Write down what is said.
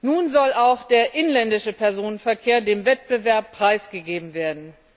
Nun soll auch der inländische Personenverkehr dem Wettbewerb preisgegeben werden.